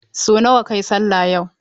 Sau nawa kayi sallah yau?